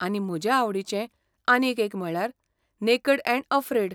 आनी म्हजे आवडीचें आनीक एक म्हणल्यार नेकेड ऍंड अफ्रेड.